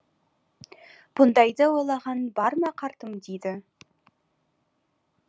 бұндайды ойлағаның бар ма қартым деді